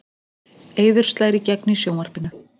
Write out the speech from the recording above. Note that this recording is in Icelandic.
Eiður slær í gegn í sjónvarpinu